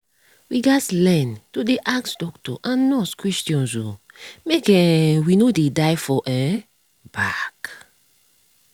we gats learn to dey ask doctor and nurse questions o make um we no dey die for um back.